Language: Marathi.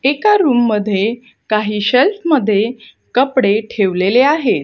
एका रूम मध्ये काही शेल्फ मध्ये कपडे ठेवलेले आहेत.